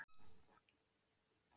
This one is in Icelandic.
Óþekkt ástand í sögu mannkyns